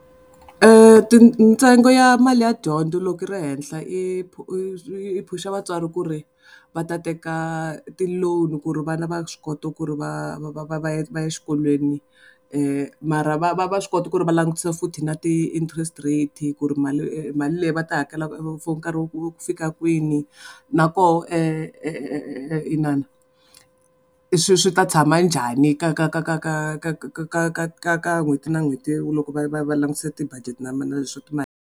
ntsengo ya mali ya dyondzo loko yi ri henhla i i phusha vatswari ku ri va ta teka ti-loan ku ri vana va swi kota ku ri va va va va va ya va ya exikolweni mara va va va swi kota ku ri va langutisa futhi na ti-interest rate ku ri mali mali leyi va ta hakela nkarhi wa ku fika kwini na koho inana swi swi ta tshama njhani ka ka ka ka ka ka ka ka ka ka ka n'hweti na n'hweti loko va va va langutisa ti-budget na na leswa mali.